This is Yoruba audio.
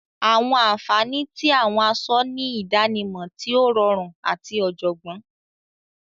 Awọn anfani ti awọn aṣọ ni idanimọ ti o rọrun ati ọjọgbọn.